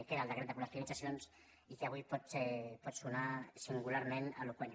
que era el decret de col·lectivitzacions i que avui pot sonar singularment eloqüent